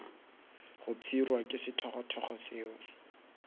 go pshirwa ke sethogothogo seo